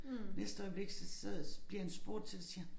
Næste øjeblik så så bliver han spurgt til det så siger han